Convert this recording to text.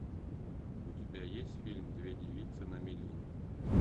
у тебя есть фильм две девицы на мели